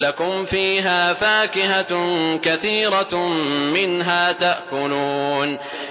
لَكُمْ فِيهَا فَاكِهَةٌ كَثِيرَةٌ مِّنْهَا تَأْكُلُونَ